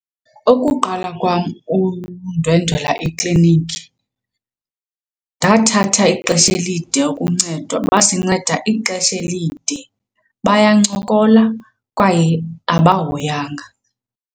Ukuqala kwam undwendwela eklinikhi ndathatha ixesha elide uncedwa, basinceda ixesha elide. Bayancokola kwaye abahoyanga.